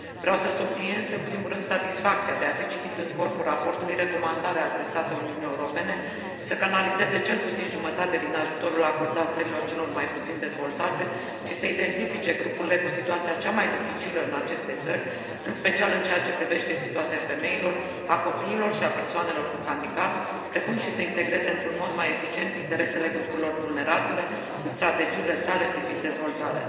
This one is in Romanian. Vreau să subliniez, în primul rând, satisfacția de a fi citit în corpul raportului recomandarea adresată Uniunii Europene de a canaliza cel puțin jumătate din ajutorul acordat țărilor celor mai puțin dezvoltate și de a identifica grupurile cu situația cea mai dificilă în aceste țări, în special în ceea ce privește situația femeilor, a copiilor și a persoanelor cu handicap, precum și de a integra într un mod mai eficient interesele grupurilor vulnerabile în strategiile sale privind dezvoltarea.